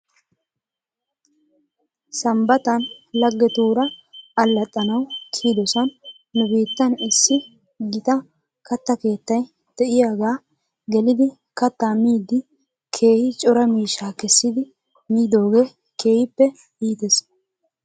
Sambbatan laggetuura allaxxanaw kiyidosan nu biitan issi gita katta keettay de'iyaaga gelidi kattaa miidi keehi cora miishshaa kessidi miidoogee keehippe iites.